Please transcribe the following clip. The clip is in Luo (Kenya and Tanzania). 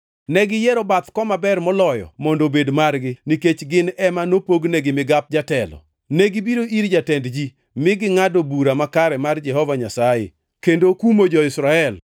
Negiyiero bath koma ber moloyo mondo obed margi, nikech gin ema nopognegi migap jatelo. Negibiro ir jatend ji, mi gingʼado bura makare mar Jehova Nyasaye, kendo kumo jo-Israel.”